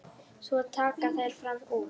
Svo taka þær fram úr.